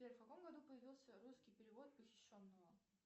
сбер в каком году появился русский перевод похищенного